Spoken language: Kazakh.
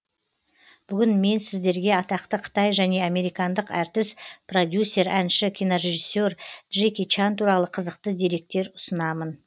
бүгін мен сіздерге атақты қытай және американдық әртіс продюсер әнші кинорежиссе р джеки чан туралы қызықты деректер ұсынамын